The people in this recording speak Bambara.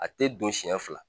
A tɛ don siɲɛ fila